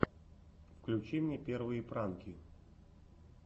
включи мне первые пранки